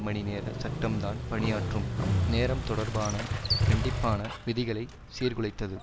மணி நேர சட்டம்தான் பணியாற்றும் நேரம் தொடர்பான கண்டிப்பான விதிகளை சீர்குலைத்தது